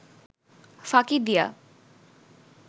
ফাঁকি দিয়া